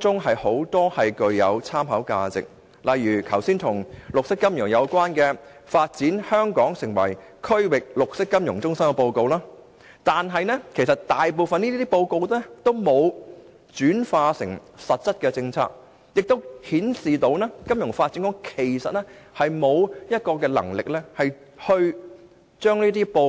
中，不乏具有參考價值的報告，例如剛才提及與綠色金融有關的《發展香港成為區域綠色金融中心》的報告，但大部分報告卻並沒有轉化成為實質的政策，這顯示金發局並無能力這樣做。